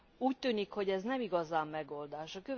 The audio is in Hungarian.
Úgy tűnik, hogy ez nem igazán megoldás.